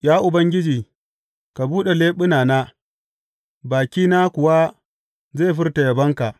Ya Ubangiji, ka buɗe leɓunana, bakina kuwa zai furta yabonka.